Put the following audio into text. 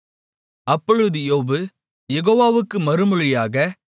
அப்பொழுது யோபு யெகோவாவுக்கு மறுமொழியாக